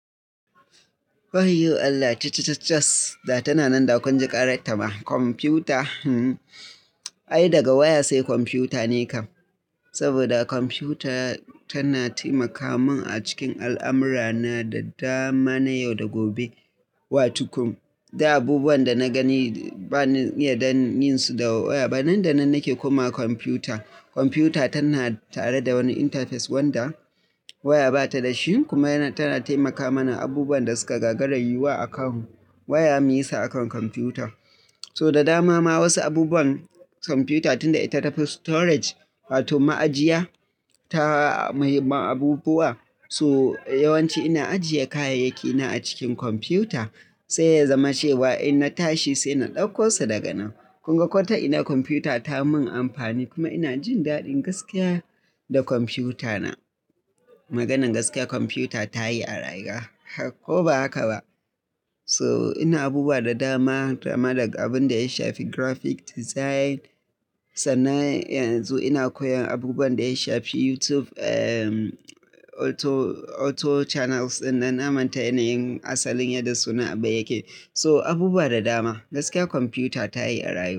Wayyo Allah! Cha cha cha chaas, da tana nan, da kun ji ƙarar ta ma. Kwamfuta, hmm. Ai daga waya sai kwamfuta ne kam. Saboda kwamfuta tana taimaka mun a cikin al'amura na da dama, na yau da gobe. Watukum, duk abubuwan da na gani bani iya dan yinsu da waya ba. Nan da nan nake koma kwamfuta. Kwamfuta tana tare da wani interface wanda waya bata da shi kuma yana, tana taimaka mana abubuwan da suka gagarar yiwuwa a kan waya muyi sa akan kwamfuta. So da dama ma wasu abubuwan kwamfiyuta tunda ita ta fi storage, wato ma'ajiya ta, mai abubuwa. So yawanci ina ajiye kayayyaki na a cikin kwamfiyuta, sai ya zama cewa in na tashi sai na ɗauko su daga nan. Kun ga kwata ina kwamfiyuta ta mun amfani kuma ina jin daɗin gaskiya da kwamfiyuta na. Maganan gaskiya kwamfiyuta ta yi a rayuwa, ko ba haka ba? So ina abubuwa da dama, dama daga abunda ya shafi graphic design, sannan yanzu ina koyan abubuwan da ya shafi YouTube, ehm, auto, auto channels. Nan na manta yanayin asalin yadda suna abun yake. So abubuwa da dama, gaskiya kwamfiyuta ta yi a rayuwa.